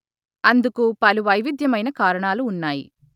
అందుకు పలు వైవిద్యమైన కారణాలు ఉన్నాయి